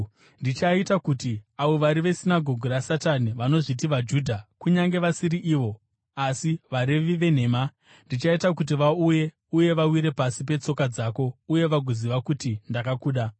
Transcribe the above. Ndichaita kuti avo vari vesinagoge raSatani, vanozviti vaJudha kunyange vasiri ivo, asi varevi venhema, ndichaita kuti vauye uye vawire pasi petsoka dzako uye vagoziva kuti ndakakuda.